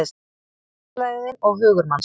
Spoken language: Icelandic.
Fjarlægðin og hugur manns